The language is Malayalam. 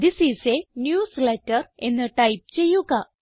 തിസ് ഐഎസ് a ന്യൂസ്ലേറ്റർ എന്ന് ടൈപ്പ് ചെയ്യുക